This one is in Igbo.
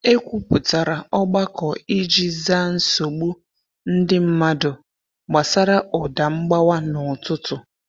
E kwupụtara ogbako iji zaa nsogbu ndị mmadụ gbasara ụda mgbawa n’ụtụtụ